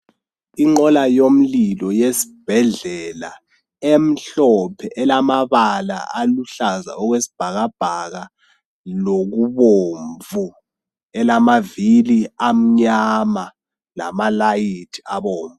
Inqola yomlilo yesibhedlela emhlophe elamaabala aluhlaza okwesibhakabhaka lokubomvu elamavili mnyama lamalayithi abomvu.